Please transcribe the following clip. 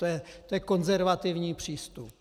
To je konzervativní přístup.